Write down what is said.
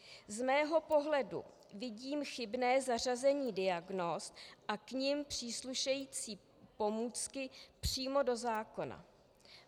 Z mého pohledu vidím chybné zařazení diagnóz a k nim příslušející pomůcky přímo do zákona.